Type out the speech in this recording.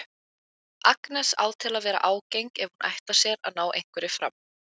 Agnes á til að vera ágeng ef hún ætlar sér að ná einhverju fram.